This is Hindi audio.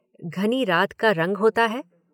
घनी रात का रंग होता है।